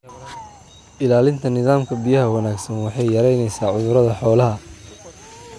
Ilaalinta nidaamka biyaha wanaagsan waxay yaraynaysaa cudurada xoolaha.